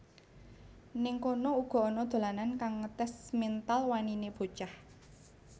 Ning kono uga ana dolanan kang ngetes mental wanine bocah